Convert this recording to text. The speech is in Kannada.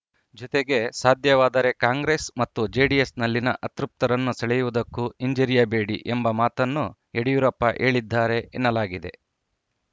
ಜೊತೆಗೆ ಸಾಧ್ಯವಾದರೆ ಕಾಂಗ್ರೆಸ್‌ ಮತ್ತು ಜೆಡಿಎಸ್‌ನಲ್ಲಿನ ಅತೃಪ್ತರನ್ನು ಸೆಳೆಯುವುದಕ್ಕೂ ಹಿಂಜರಿಯಬೇಡಿ ಎಂಬ ಮಾತನ್ನು ಯಡಿಯೂರಪ್ಪ ಹೇಳಿದ್ದಾರೆ ಎನ್ನಲಾಗಿದೆ